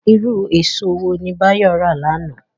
Irú èso wo ni Báyọ̀ rà lánàá?